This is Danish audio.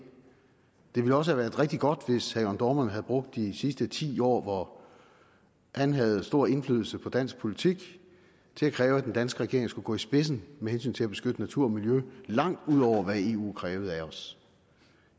det ville også have været rigtig godt hvis herre jørn dohrmann havde brugt de sidste ti år hvor han havde stor indflydelse på dansk politik til at kræve at den danske regering skulle gå i spidsen med hensyn til at beskytte natur og miljø langt ud over hvad eu krævede af os